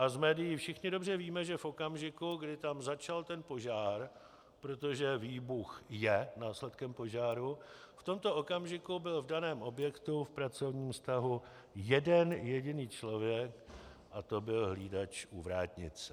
A z médií všichni dobře víme, že v okamžiku, kdy tam začal ten požár, protože výbuch je následkem požáru, v tomto okamžiku byl v daném objektu v pracovním vztahu jeden jediný člověk a to byl hlídač u vrátnice.